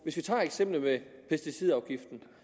hvis vi tager eksemplet med pesticidafgiften